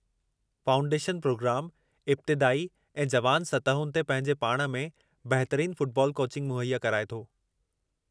Foundation प्रोग्रामु इब्तिदाई ऐं जुवान सतहुनि ते पंहिंजे पाण में बहितरीन फ़ुटबाॅल कोचिंग मुहैया कराए थो।